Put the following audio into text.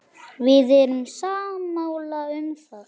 Við erum sammála um það.